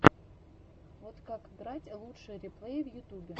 вот как играть лучшие реплеи в ютубе